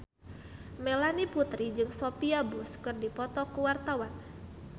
Melanie Putri jeung Sophia Bush keur dipoto ku wartawan